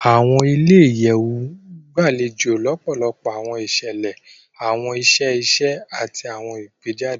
Awọn ilé-iyẹwu gbalejo lọpọlọpọ awọn iṣẹlẹ, awọn iṣẹ iṣe, ati awọn ìgbéjáde